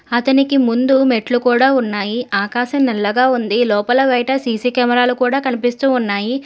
అతనికి ముందు మెట్లు కూడా ఉన్నాయి ఆకాశం నల్లగా ఉంది లోపల బయట సీ_సీ కెమెరా లు కూడా కనిపిస్తూ ఉన్నాయి.